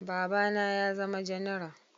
Baba na ya zama janara